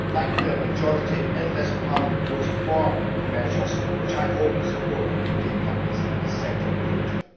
Thankfully a majority in this Parliament voted for the measures, which I hope will support our UK companies in this sector in the future.